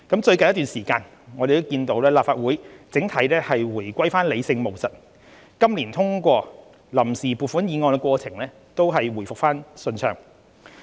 最近一段時間，我們看到立法會整體回歸理性務實，今年通過臨時撥款議案的過程回復暢順。